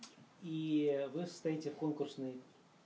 и вы стоите конкурсный